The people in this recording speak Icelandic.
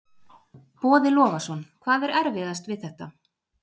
Boði Logason: Hvað er erfiðast við þetta?